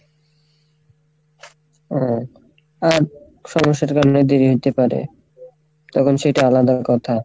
ও আর সমস্যা তো বাড়লে দেরী হইতেও পারে, তখন সেইটা আলাদা কথা।